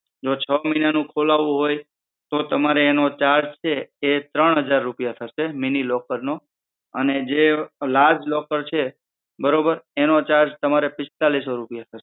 જો છ મહિના તમારે ખોલાવું હોય તો એનો charge છે હજાર રૂપિયા mini locker નો અને જે large locker છે બરોબર એનો charge તમારે પીસ્તાલીસો રૂપિયા થશે